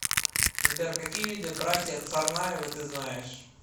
сбер какие виды братья царнаевы ты знаешь